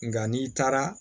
Nka n'i taara